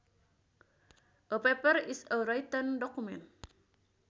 A paper is a written document